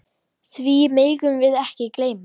Því megum við ekki gleyma.